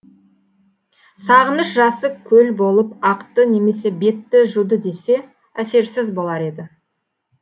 сағыныш жасы көлболып ақты немесе бетті жуды десе әсерсіз болар еді